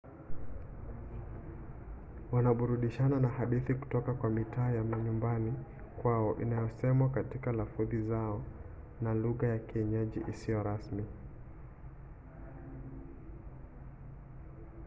wanaburudishana na hadithi kutoka kwa mitaa ya manyumbani kwao inayosemwa katika lafudhi zao tofauti na lugha ya kienyeji isiyo rasmi